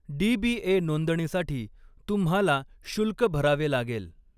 DBA. नोंदणीसाठी तुम्हाला शुल्क भरावे लागेल.